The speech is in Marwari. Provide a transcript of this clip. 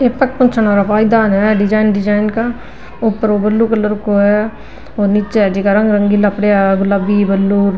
ऐ पग पूँछन आला पायदान है डिजाइन डिजाइन का ऊपर ब्लू कलर को है नीचे हे जका रंग रंगीला पड़या है गुलाबी ब्लू ।